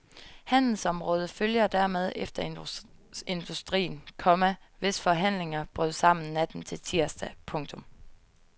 Handelsområdet følger dermed efter industrien, komma hvis forhandlinger brød sammen natten til tirsdag. punktum